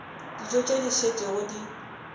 dijo tše di šetšego di